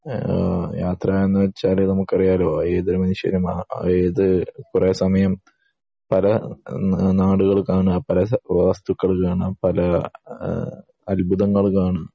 ആഹ് യാത്ര എന്ന് വെച്ചാൽ നമുക്ക് അറിയാലോ ഏതൊരു മനുഷ്യനും ഏത് കൊറേ സമയം പല നാടുകൾ കാണാ പല വസ്തുക്കൾ കാണാ പല ആഹ് അത്ഭുതങ്ങൾ കാണാ